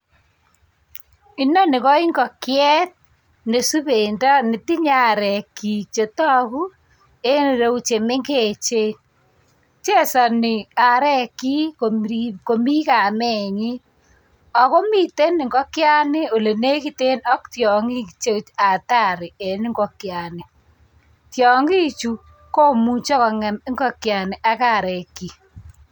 Inoni ko ingokiet nesubendo netinye arek chik chetagu en cheu chemengechen chesani arek chik Komi kamenyin akomiten ingokyani ole nekiten ak tiangik Che Atari en ingokyani tiangik Chu komuche kongem ingokiet ak arek chik